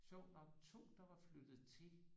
Sjovt nok 2 der var flyttet til